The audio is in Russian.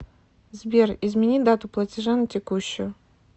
сбер измени дату платежа на текущую